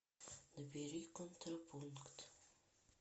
набери контрапункт